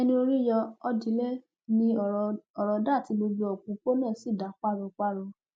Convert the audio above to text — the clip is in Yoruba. ẹni orí yọ ọ dilẹ ní ọrọ dà tí gbogbo òpópónà sì dá páropáro